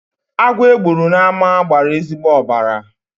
Agwọ e gburu n'ámá gbara ezigbo ọbara.